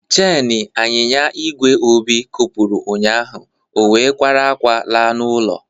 Cheni anyịnya igwe Obi kopuru ụnyaahụ, ọ wee kwara akwa laa n'ụlọ.